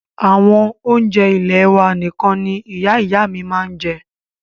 Àwọn oúnjẹ ilẹ́ wà nìkan ní Ìyá ìyá à mí màa ń jẹ́.